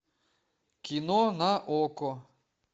кино на окко